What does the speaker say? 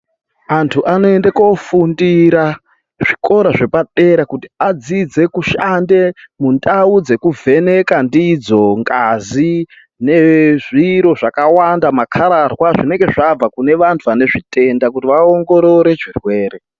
Antu anoende kofundira zvikora zvepadera kuti adzidze kushande mundau dzeku vheneka ndidzo ngazi nezviro zvakawanda makararwa zvinenge zvabva kunevantu vanenge vanezvitenda kuti vaongorore zvirwere.